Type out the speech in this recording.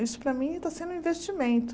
Isso para mim está sendo um investimento.